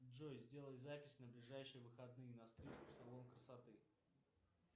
джой сделай запись на ближайшие выходные на стрижку в салон красоты